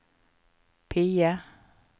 PIE